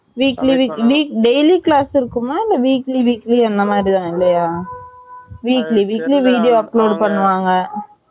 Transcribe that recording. weekly weekly daily class இருக்குமா இல்ல weekly weekly அந்த மாதிரி தான் இல்லையா weekly weekly video upload பண்ணுவாங்க